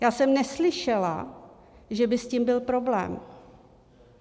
Já jsem neslyšela, že by s tím byl problém.